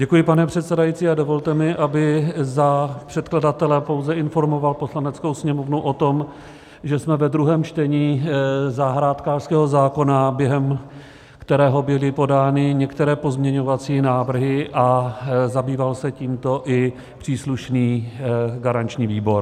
Děkuji, pane předsedající, a dovolte mi, abych za předkladatele pouze informoval Poslaneckou sněmovnu o tom, že jsme ve druhém čtení zahrádkářského zákona, během kterého byly podány některé pozměňovací návrhy a zabýval se tímto i příslušný garanční výbor.